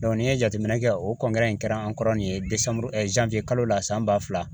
n'i ye jateminɛ kɛ o in kɛra an kɔrɔ nin ye kalo la san ba fila